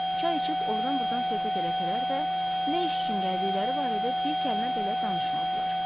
Çay içib ordan-burdan söhbət eləsələr də, nə iş üçün gəldikləri barədə bir kəlmə belə danışmadılar.